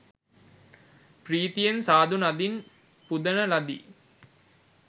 ප්‍රීතියෙන් සාධු නදින් පුදන ලදී.